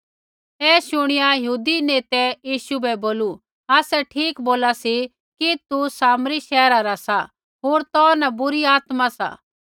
ऐ शुणिया यहूदी नेतै यीशु बै बोलू आसै ठीक बोला सी कि तू सामरी शैहरा रा सा होर तौ न बुरी आत्मा सा